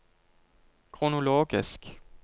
kronologisk